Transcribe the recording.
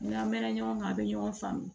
N'an mɛn na ɲɔgɔn kan a bɛ ɲɔgɔn faamu